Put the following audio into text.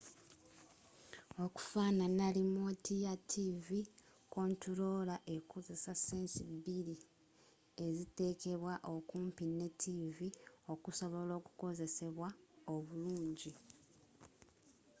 okufaanana limooti ya tivi kontuloola ekozesa sense bbiri eziteekebwa okumpi ne tivi okusobola okukozesebwa obulungi